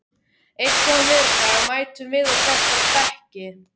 Einn góðan veðurdag mætum við á þessa bekki.